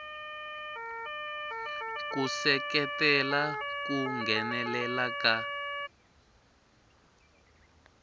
ku seketela ku nghenelela ka